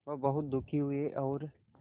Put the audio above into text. वह बहुत दुखी हुए और